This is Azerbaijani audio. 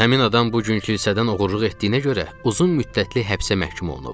Həmin adam bu gün kilsədən oğurluq etdiyinə görə uzun müddətli həbsə məhkum olunub.